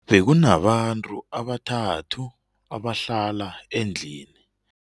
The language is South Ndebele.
Bekunabantu abathathu abahlala endlini.